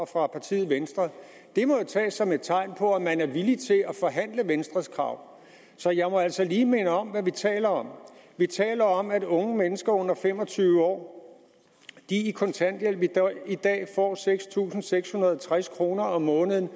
fra partiet venstre det må jo tages som et tegn på at man er villig til at forhandle venstres krav så jeg må altså lige minde om hvad vi taler om vi taler om at unge mennesker under fem og tyve år i kontanthjælp i dag får seks tusind seks hundrede og tres kroner om måneden